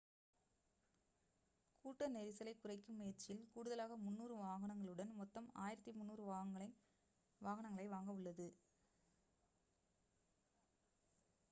கூட்ட நெரிசலை குறைக்கும் முயற்சியில் கூடுதலாக 300 வாகனங்களுடன் மொத்தம் 1,300 வாகனங்களை வாங்க உள்ளது